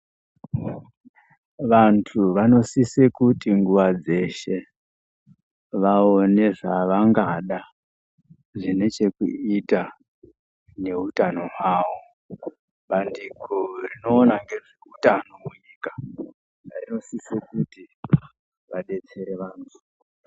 Vanthu vanosise kuti nguwa dzeshe, vaone zvevangada zvine chekuita nehutano hwavo. Bandiko rinoona ngezveutano munyika, rinosise kuti vadetsere vanthu.